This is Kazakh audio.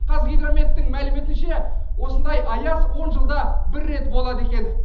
қазгидрометтің мәліметінше осындай аяз он жылда бір рет болады екен